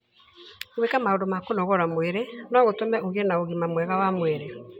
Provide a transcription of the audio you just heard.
Gwĩka maũndũ ma kũnogora mwĩrĩ no gũtũme ũgĩe na ũgima mwega wa mwĩrĩ.